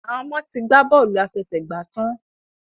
Àwon ọmọ to gbà Bọ́ọ̀lù àfẹsẹ̀gbá tán.